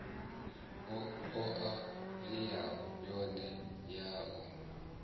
oa nila yone ya u